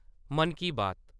मन की बात